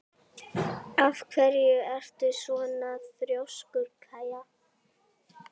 Af hverju ertu svona þrjóskur, Kaía?